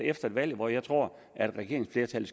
efter et valg hvor jeg tror at regeringsflertallet